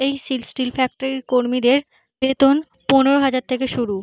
এই steel factory কর্মীদের বেতন পনেরো হাজার থাকে শুরু।